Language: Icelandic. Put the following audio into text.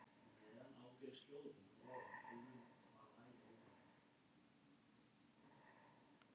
En ég er til.